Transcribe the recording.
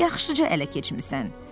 Yaxşıca ələ keçmisən.